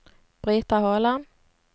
Brita Håland